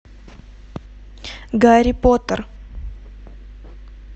гарри поттер